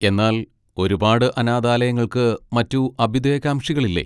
എന്നാൽ ഒരുപാട് അനാഥാലയങ്ങൾക്ക് മറ്റ് അഭ്യുദയകാംക്ഷികളില്ലേ?